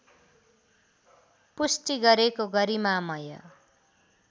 पुष्टि गरेको गरिमामय